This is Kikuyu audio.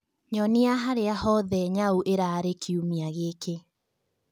nyonĩa haria hothe nyau ĩrari kĩumĩa gĩkĩ